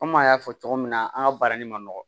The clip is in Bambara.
Kɔmi an y'a fɔ cogo min na an ka baara nin ma nɔgɔ